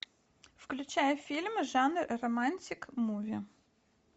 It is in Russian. включай фильм жанр романтик муви